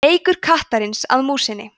leikur kattarins að músinni